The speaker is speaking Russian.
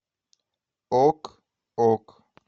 ок ок